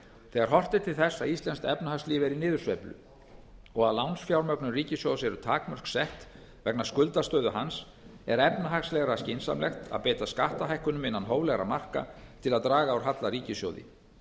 þegar horft er til þess að íslenskt efnahagslíf er í niðursveiflu og að lánsfjármögnun ríkissjóðs eru takmörk sett vegna skuldastöðu hans er efnahagslega skynsamlegt að beita skattahækkunum innan hóflegra marka til að draga úr halla á ríkissjóði